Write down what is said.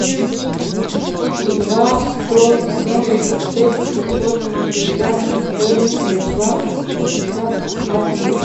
два сто семьдесят шесть пятьсот шестьдесят семь девятнадцать шестьдесят один